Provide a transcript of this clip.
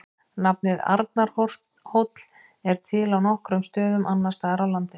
Nafnið Arnarhóll er til á nokkrum stöðum annars staðar á landinu.